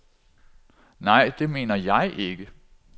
Nej, det mener jeg ikke.